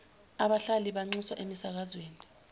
abahlali banxuswa emisakazweni